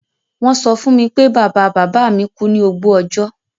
Won so fún mi pé bàbá-bàbámi ku ni ògbó ọjọ́